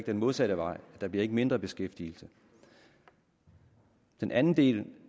den modsatte vej der bliver ikke mindre beskæftigelse den anden del